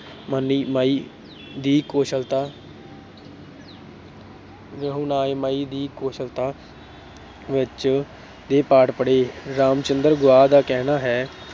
ਦੀ ਕੌਸ਼ਲਤਾ ਅਹ ਰਹਿਨੁਮਾਈ ਦੀ ਕੌਸ਼ਲਤਾ ਵਿੱਚ ਦੇ ਪਾਠ ਪੜ੍ਹੇ। ਰਾਮਚੰਦਰ ਗੁਹਾ ਦਾ ਕਹਿਣਾ ਹੈ